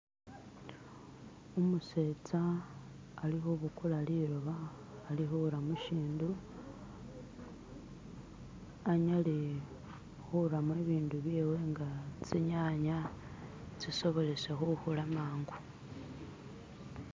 umusetsa alikhubukula lilooba alikhura musindu anyale khura mubindu byewe nga tsinyanya tsisobolesa khukhula mangu